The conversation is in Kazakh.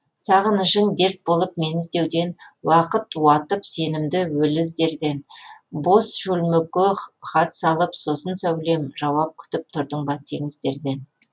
сағынышың дерт болып мені іздеуден уақыт уатып сенімді өлі іздерден бос шөлмекке хат салып сосын сәулем жауап күтіп тұрдың ба теңіздерден